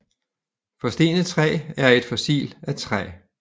Forstenet træ er et fossil af træ